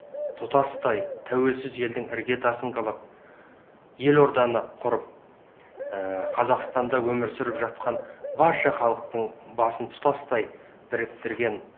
тұтастай тәуелсіз елдің іргетасын қалап елорданы құрып қазақстанда өмір сүріп жатқан барша халықтың басын тұтастай біріктірген